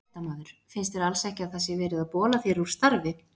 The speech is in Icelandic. Fréttamaður: Finnst þér alls ekki að það sé verið að bola þér úr starfi?